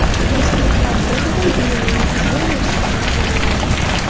Mazkur platformadan dunyoning nufuzli universitetlari foydalanadi.